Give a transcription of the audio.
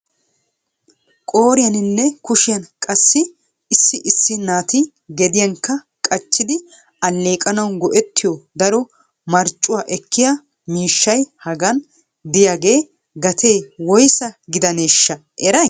Qooriyaninne kushiyaan qassi issi issi naati gediyankka qachchidi alleeqanaw go"ettiyo daro marccuwaa ekkiya miishshay hagan de'iyaaga gatee woyssa gidaneshsha eray?